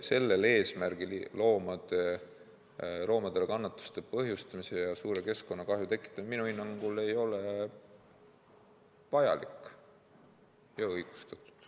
Sellel eesmärgil loomadele kannatuste põhjustamine ja suure keskkonnakahju tekitamine minu hinnangul ei ole vajalik ja õigustatud.